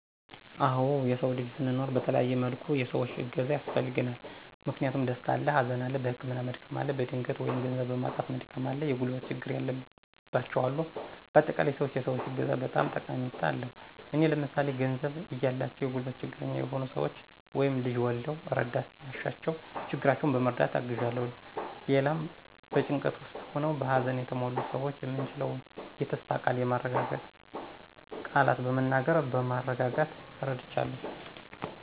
አወ የሰዉ ልጅ ስንኖር በተለያየ መልኩ የሰዎች እገዛ ያስፈልገናል። ምክንያቱም፦ ደስታ አለ፣ ሀዘን አለ፣ በህመም መድከም አለ፣ በድህነት(ገንዘብ) በማጣት መድከም አለ፣ የጉልበት ችግር ያለባቸዉ አሉ በአጠቃላይ, ሰዎች የሰዎች እገዛ በጣም ጠቀሜታ አለዉ። እኔ ለምሳሌ፦ ገንዘብ እያላቸዉ የጉልበት ችግረኛ የሆኑ ሰወችን (ልጅ ወልደዉ እረዳት ሲያሻቸዉ ችግራቸዉን በመረዳት አግዣለሁ)።ሌላም, በጭንቀት ዉስጥ ሆነዉ በሀዘን የተሞሉትን ሰዎች የምችለዉን የተስፋ ቃል(የሚያረጋጉ ቃላትን በመናገር በማረጋጋት ረድቻለሁ)።